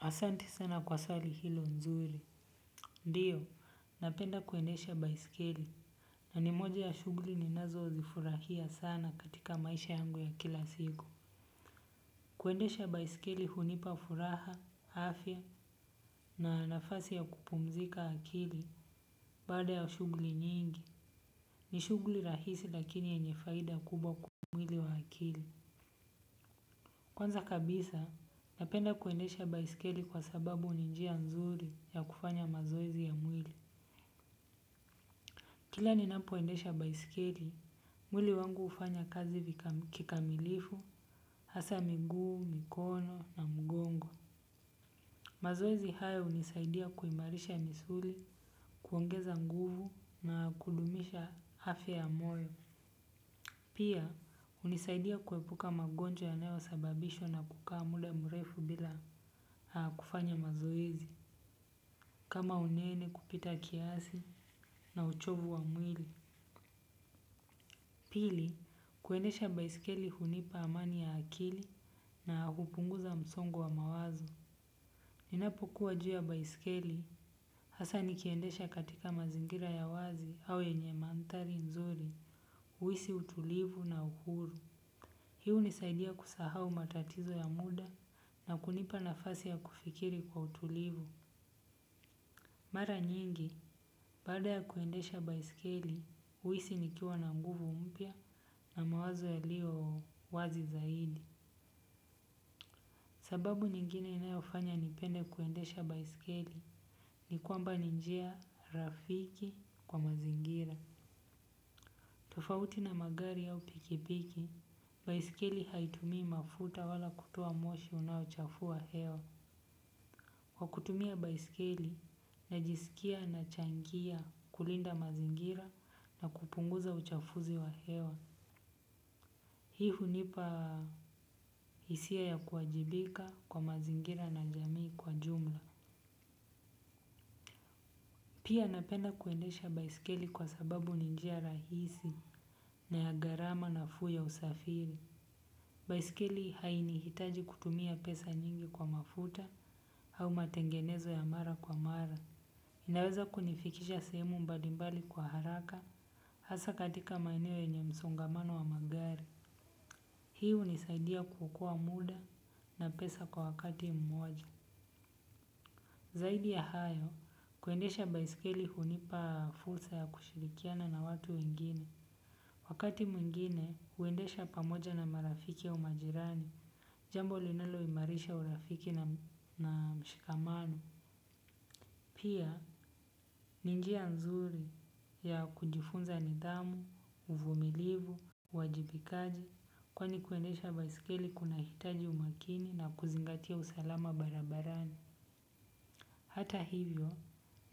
Asanti sana kwa swali hilo nzuri. Ndiyo, napenda kuendesha baisikili. Na ni moja ya shuguli ninazo zifurahia sana katika maisha yangu ya kila siku. Kuendesha baisikili hunipa furaha, afya na nafasi ya kupumzika akili baada ya shugli nyingi. Ni shuguli rahisi lakini yenye faidi kubwa kwa mwili na akili. Kwanza kabisa, napenda kuendesha baisikili kwa sababu ninjia nzuri ya kufanya mazoezi ya mwili. Kila ni napoendesha baisikeli, mwili wangu hufanya kazi kikamilifu, hasa miguu, mikono na mgongo. Mazoezi hayo hunisaidia kuimarisha misuli, kuongeza nguvu na kudumisha afya ya moyo. Pia, hunisaidia kuepuka magonjwa yanayo sababishwa na kukaa muda mrefu bila kufanya mazoezi. Kama unene kupita kiasi na uchovu wa mwili. Pili, kuendesha baisikeli hunipa amani ya akili na kupunguza msongo wa mawazo. Ninapokuwa juu ya baisikeli, hasa nikiendesha katika mazingira ya wazi au yenye mantari nzuri, huisi utulivu na uhuru. Hii hunisaidia kusahau matatizo ya muda na kunipa nafasi ya kufikiri kwa utulivu. Mara nyingi baada ya kuendesha baiskeli huisi nikiwa na nguvu mpya na mawazo yaliyo wazi zaidi. Sababu nyingine inayofanya nipende kuendesha baisikeli ni kwamba ninjia rafiki kwa mazingira. Tofauti na magari au piki piki baiskeli haitumi mafuta wala kutoa moshi inayochafua hewa. Kwa kutumia baisikili na jisikia na changia kulinda mazingira na kupunguza uchafuzi wa hewa. Hii hunipa hisia ya kuajibika kwa mazingira na jamii kwa jumla. Pia napenda kuendesha baisikili kwa sababu ninjia rahisi na ya gharama nafuu ya usafiri. Baisikili haini hitaji kutumia pesa nyingi kwa mafuta au matengenezo ya mara kwa mara. Inaweza kunifikisha sehemu mbali mbali kwa haraka hasa katika maeneo yenye msongamano wa magari. Pia hunisaidia kuokoa muda na pesa kwa wakati mmoja. Zaidi ya hayo, kuendesha baiskeli hunipa fursa ya kushirikiana na watu wengine. Wakati mwingine, kuendesha pamoja na marafiki au majirani. Jambo linalo imarisha urafiki na mshikamano. Pia ni njia mzuri ya kujifunza nidhamu, uvumilivu, uwajibikaji kwani kuendesha baiskeli kunahitaji umakini na kuzingatia usalama barabarani. Hata hivyo,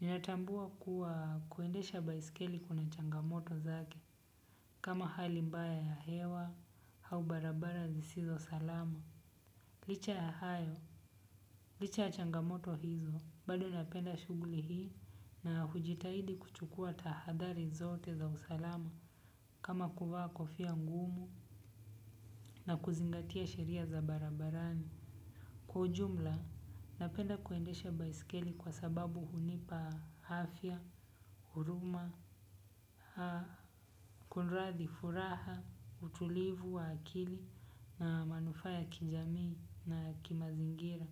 ninatambua kuwa kuendesha baisikeli kuna changamoto zake kama hali mbaya ya hewa au barabara zisizo salama. Licha ya hayo, licha ya changamoto hizo, bali napenda shugli hii na hujitahidi kuchukua tahadari zote za usalama kama kuvaa kofia ngumu na kuzingatia sheria za barabarani. Kwa ujumla napenda kuendesha baiskeli kwa sababu hunipa afya, huruma, kunuradhi, furaha, utulivu wa akili na mafuu ya kijamii na ya kimazingira.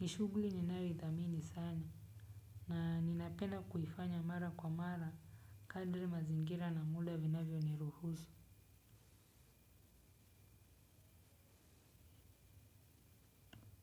Nishuguli ninayo ithamini sana na ninapenda kuifanya mara kwa mara kadri mazingira na muda vinavyo ni ruhusu.